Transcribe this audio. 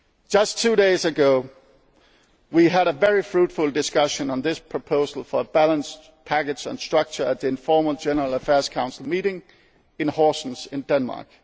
into the relevant headings. Just two days ago we had a very fruitful discussion on this proposal for a balanced package and structure at the informal General Affairs Council